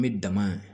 N bɛ dama